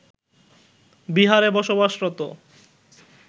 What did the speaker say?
বিহারে বসবাসরত